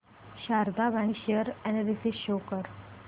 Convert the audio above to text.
Sharda bank share analysis show कर